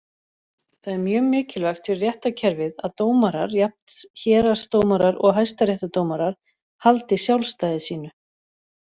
Það er mjög mikilvægt fyrir réttarkerfið að dómarar, jafnt héraðsdómarar og Hæstaréttardómarar, haldi sjálfstæði sínu.